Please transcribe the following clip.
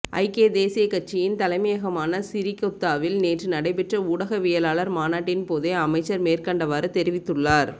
ஐக்கிய தேசியக் கட்சியின் தலைமையகமான சிறிகொத்தாவில் நேற்று நடைபெற்ற ஊடகவியலாளர் மாநாட்டின் போதே அமைச்சர் மேற்கண்டவாறு தெரிவித்துள்ளார்